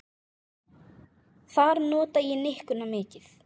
Þar nota ég nikkuna mikið.